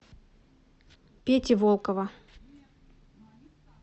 пети волкова